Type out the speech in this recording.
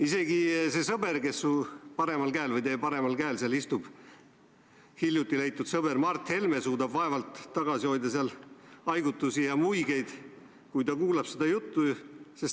Isegi see sõber, kes teie paremal käel istub, hiljuti leitud sõber Mart Helme, suudab vaevalt tagasi hoida haigutusi ja muigeid, kui ta seda juttu kuulab.